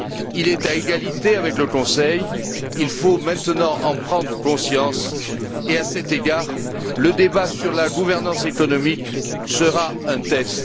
Il est à égalité avec le Conseil, il faut maintenant en prendre conscience et, à cet égard, le débat sur la gouvernance économique sera un test.